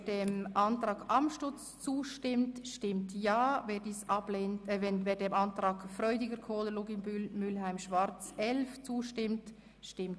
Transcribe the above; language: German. Wer dem Antrag 10 zustimmt, stimmt Ja, wer den Antrag 11 vorzieht, stimmt Nein.